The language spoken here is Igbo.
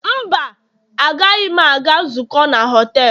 Mba, agaghị m aga nzukọ na họtelu